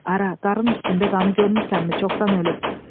Ara, qarın üstündə qanın görmürsənmi, çoxdan ölüb.